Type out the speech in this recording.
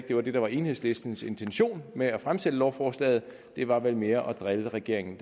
det var det der var enhedslistens intention med at fremsætte lovforslaget det var vel mere at drille regeringen